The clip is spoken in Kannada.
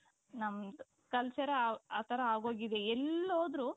ನಮ್ದ್ culture ಆ ತರ ಆಗೋಗಿದೆ ಎಲ್ಲೋದ್ರು